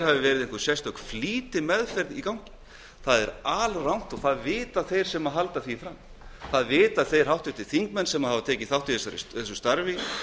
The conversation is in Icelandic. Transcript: sérstök flýtimeðferð hafi verið í gangi það er alrangt og það vita þeir sem halda því fram það vita þeir háttvirtir þingmenn sem tekið hafa þátt í þessu starfi